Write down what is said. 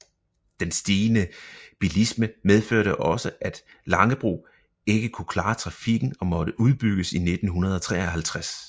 Den stigende bilisme medførte også at Langebro ikke kunne klare trafikken og måtte udbygges i 1953